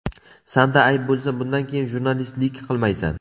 Sanda ayb bo‘lsa bundan keyin jurnalistlik qilmaysan.